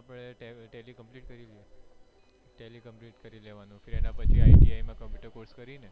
આપણે tally complete કરી લેવાનું એના પછી ITI માં computer course કરીને